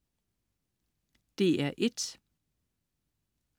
DR1: